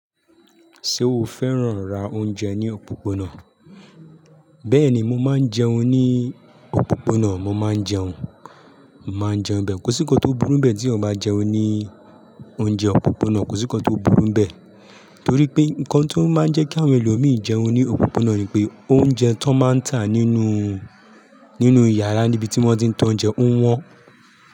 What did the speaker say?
Ṣé o fẹ́ràn rá oúnjẹ ní òpópónà? Bẹ́ẹ̀ni, mo máa ń jẹun ní òpópónà, mo máa ń jẹun, màá jẹun bẹ́ẹ̀, kò sí ńkan tó burú bẹ́ẹ̀ tí o bá jẹun ní oúnjẹ òpópónà, kò sí ńkan tó burú bẹ́ẹ̀. Torí pé ńkan tí ó máa ń jẹ́ kí àwọn ẹlòmíràn jẹun ní òpópónà ni pé oúnjẹ tó máa ń tà nínú, nínú yàrá níbi tí wọ́n ti ń ta oúnjẹ ń wọ́n.